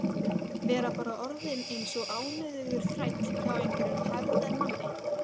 Vera bara orðinn eins og ánauðugur þræll hjá einhverjum hefðarmanni.